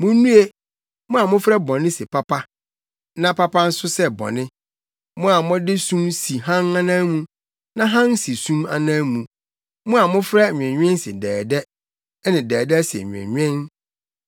Munnue, mo a mofrɛ bɔne sɛ papa na papa nso sɛ bɔne, mo a mode sum si hann anan mu na hann si sum anan mu, mo a mofrɛ nweenwen se dɛɛdɛ ne dɛɛdɛ se nweenwen.